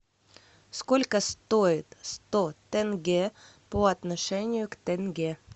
сколько стоит сто тенге по отношению к тенге